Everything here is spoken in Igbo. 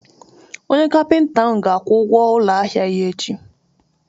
Onye kapịnta ahụ ga-akwụ ụgwọ ụlọ ahịa ya echi.